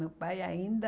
Meu pai ainda...